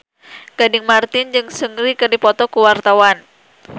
Gading Marten jeung Seungri keur dipoto ku wartawan